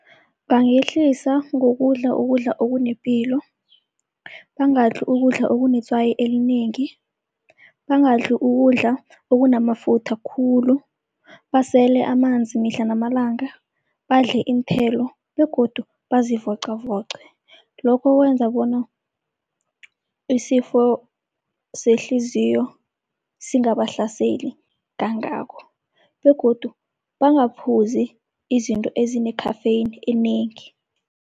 Bangehlisa ngokudla ukudla okunepilo, bangadli ukudla okunetswayi elinengi, bangadli ukudla okunamafutha khulu, basele amanzi mihla namalanga, badle iinthelo begodu bazivocavoce. Lokho kwenza bona isifo sehliziyo singabahlaseli kangako begodu bangaphuzi izinto ezine-caffeine enengi.